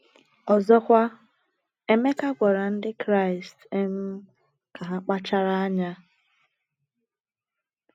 Ọzọkwa, Emeka gwara ndị Kraịst um ka ha kpachara anya.